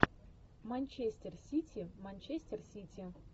манчестер сити манчестер сити